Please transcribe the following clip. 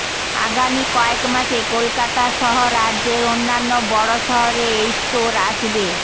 আগামী কয়েক মাসে কলকাতা সহ রাজ্যের অন্যান্য বড় শহরে এই স্টোর আসবে